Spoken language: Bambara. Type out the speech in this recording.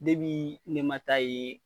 ma taa ye